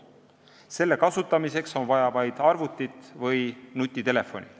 Selle kasutamiseks on vaja vaid arvutit või nutitelefoni.